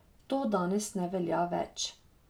To danes ne velja več.